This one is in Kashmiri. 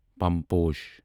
پم پوش